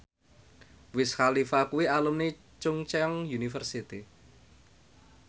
Wiz Khalifa kuwi alumni Chungceong University